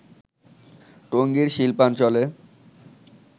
টঙ্গীর শিল্পাঞ্চলে